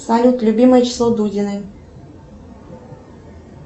салют любимое число дудиной